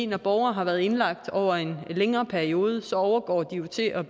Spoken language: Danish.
når borgere har været indlagt over en længere periode overgår de til at